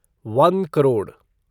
one crore